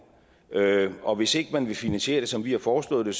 og hvis ikke man vil finansiere det som vi har foreslået det